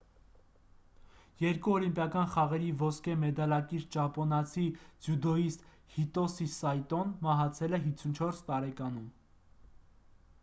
երկու օլիմպիական խաղերի ոսկե մեդալակիր ճապոնացի ձյուդոյիստ հիտոսի սայտոն մահացել է 54 տարեկանում